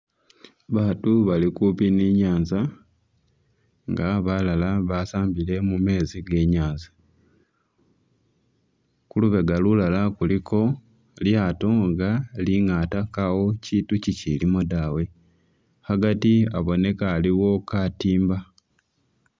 Bantu bali kumpi ni'nyanza nga balala basambile mumetsi ge'nyanza khulubega lulala khulikho lyato lingataa kaawo kyintu kyikyilimo dawe agati abonekha aliwo katimba